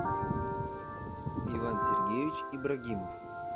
иван сергеевич ибрагимов